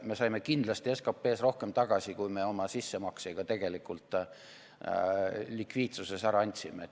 Me saime kindlasti SKP-s rohkem tagasi, kui me oma sissemaksega tegelikult likviidsuses ära andsime.